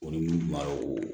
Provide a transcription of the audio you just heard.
O ni mun b'a o